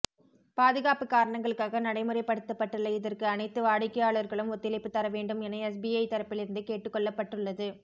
பாதுகாப்பு காரணங்களுக்காக நடைமுறைப் படுத்தப்பட்டுள்ள இதற்கு அனைத்து வாடிக்கையாளர்களும் ஒத்துழைப்பு தரவேண்டும் என எஸ்பிஐ தரப்பிலிருந்து கேட்டுக்கொள்ளப்பட்டுள்ளது